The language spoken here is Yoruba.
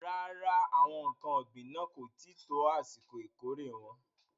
Rárá, àwọn ǹkan ògbìn náà kò tí ì tó àsìkò ìkórè wọn.